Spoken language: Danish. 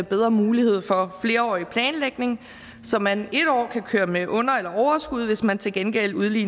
bedre mulighed for flerårig planlægning så man et år kan køre med under eller overskud hvis man til gengæld